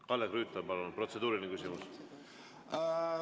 Kalle Grünthal, palun, protseduuriline küsimus!